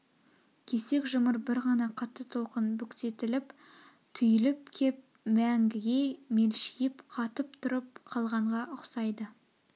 кесек жұмыр бір ғана қатты толқын бүктетіліп түйіліп кеп мәңгіге мелшип қатып тұрып қалғанға ұқсайды